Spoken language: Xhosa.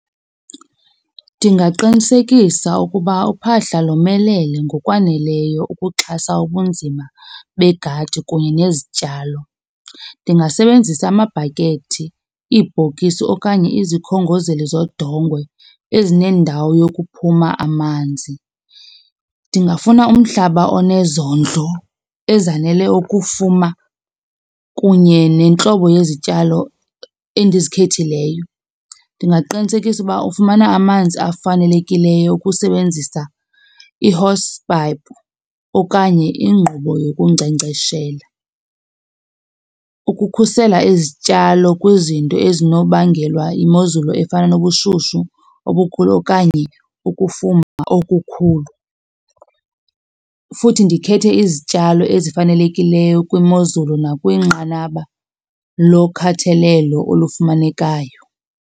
Ndingaqinisekisa ukuba uphahla lomelele ngokwaneleyo ukuxhasa ubunzima begadi kunye nezityalo. Ndingasebenzisa amabhakethi, iibhokisi okanye izikhongozeli zodongwe ezinendawo yokuphuma amanzi. Ndingafuna umhlaba onezondlo ezanele ukufuma kunye nentlobo yezityalo endizikhethileyo. Ndingaqinisekisa uba ufumana amanzi afanelekileyo ukusebenzisa ihosi payipu okanye ingqubo yokunkcenkceshela. Ukukhusela izityalo kwizinto ezinobangelwa yimozulu efana nobushushu obukhulu okanye ukufuma okukhulu, futhi ndikhethe izityalo ezifanelekileyo kwimozulu nakwinqanaba lokhathalelo olufumanekayo.